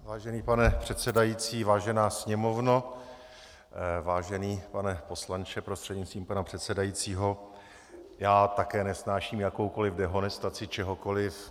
Vážený pane předsedající, vážená Sněmovno, vážený pane poslanče prostřednictvím pana předsedajícího, já také nesnáším jakoukoliv dehonestaci čehokoliv.